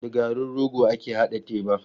Da garin rogo ake haɗa teba.